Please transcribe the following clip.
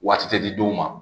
Waati tɛ di dɔw ma